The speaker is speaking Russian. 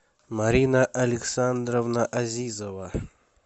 марина александровна азизова